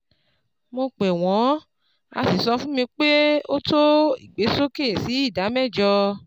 Mo pè wọn, a sì sọ fún mi pé ó tó ìgbésókè sí ìdá mẹ́jọ